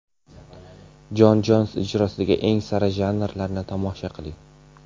Jon Jons ijrosidagi eng sara janglarni tomosha qiling!